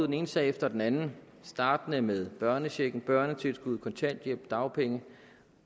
den ene sag efter den anden startende med børnechecken børnetilskuddet kontanthjælp dagpenge